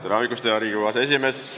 Tere hommikust, hea Riigikogu aseesimees!